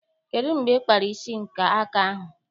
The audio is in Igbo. Kedụ mgbe ị kpara isi aka ahụ?